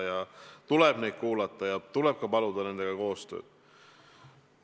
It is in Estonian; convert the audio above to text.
Neid tuleb kuulata ja tuleb ka paluda nendega koostööd.